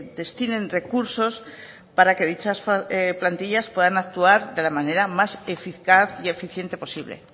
destinen recursos para que dichas plantillas puedan actuar de la manera más eficaz y eficiente posible